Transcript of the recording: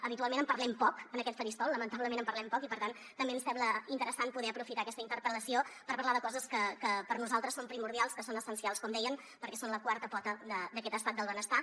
habitualment en parlem poc en aquest faristol lamentablement en parlem poc i per tant també ens sembla interessant poder aprofitar aquesta interpel·lació per parlar de coses que per nosaltres són primordials que són essencials com dèiem perquè són la quarta pota d’aquest estat del benestar